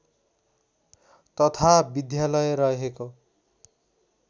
तथा विद्यालय रहेको